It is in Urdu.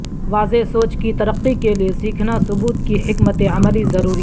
واضح سوچ کی ترقی کے لئے سیکھنا ثبوت کی حکمت عملی ضروری ہے